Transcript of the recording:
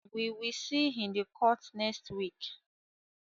We will see in the court next week